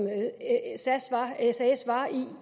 sas var i